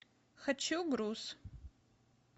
хочу груз